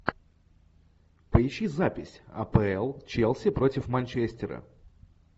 поищи запись апл челси против манчестера